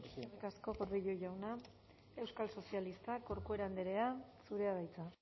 eskerrik asko gordillo jauna euskal sozialistak corcuera andrea zurea da hitza